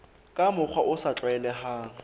ka mokgwa o sa tlwaelehang